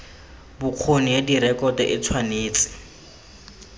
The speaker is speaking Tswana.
bokgoni ya direkoto e tshwanetse